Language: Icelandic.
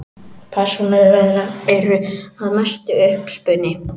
Persónur þeirra eru að mestu uppspuni.